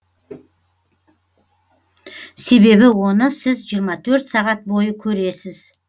себебі оны сіз жиырма төрт сағат бойы көресіз